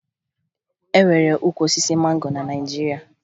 E nwere ukwu osisi mango na Naịjirịa